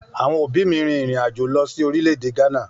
Àwọn òbí mi rìn irin àjò lọ sí orílè-èdè Ghana